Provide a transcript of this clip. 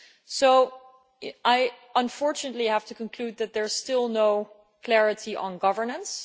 So I unfortunately have to conclude that there is still no clarity on governance.